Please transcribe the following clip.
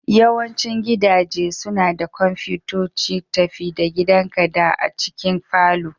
Yawancin gidaje suna da kwamfutoci tafi-da-gidanka da a cikin falon.